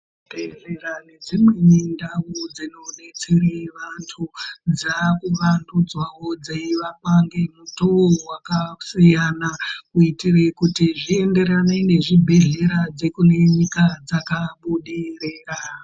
Zvibhedhlera nedzimweni ndau dzinodetsere vantu, dzaakuvandudzwawo dzeivakwa ngemutoo wakasiyana kuitire kuti zvienderane nezvibhehlera dzekune nyika dzakabudirira.